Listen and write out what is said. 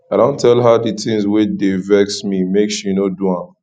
i don tell her di tins wey dey vex me make she no do dem